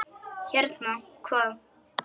Hérna, hvað?